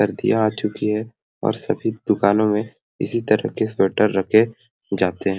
सर्दियाँ आ चुकी है और सभी दुकानों में इसी तरह के स्वेटर रखे जाते है।